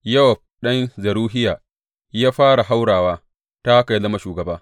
Yowab ɗan Zeruhiya ya fara haurawa, ta haka ya zama shugaba.